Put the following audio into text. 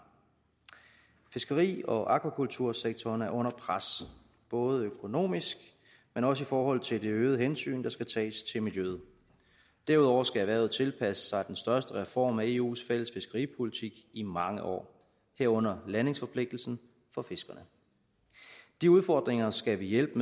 fiskeri og akvakultursektoren er under pres både økonomisk men også i forhold til det øgede hensyn der skal tages til miljøet derudover skal erhvervet tilpasse sig den største reform af eus fælles fiskeripolitik i mange år herunder landingsforpligtelsen for fiskerne de udfordringer skal vi hjælpe